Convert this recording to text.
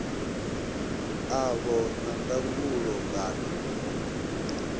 a vha na ndangulo kana